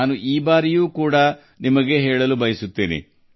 ಇದರ ಬಗ್ಗೆಯೂ ನಾನು ನಿಮಗೆ ಹೇಳಲು ಬಯಸುತ್ತೇನೆ